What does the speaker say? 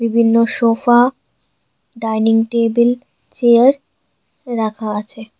বিভিন্ন sofa dining table chair রাখা আছে।